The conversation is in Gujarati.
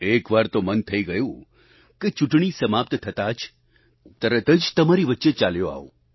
એકવાર તો મન થઈ ગયું કે ચૂંટણી સમાપ્ત થતાં જ તરત જ તમારી વચ્ચે જ ચાલ્યો આવું